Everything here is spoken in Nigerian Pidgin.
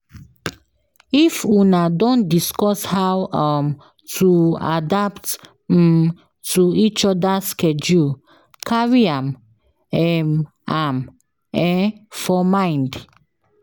If Una don discuss how um to adapt um to each others schedule carry am um am um for mind